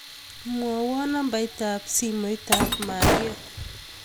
Mwowon nambait ab simoit ab Maria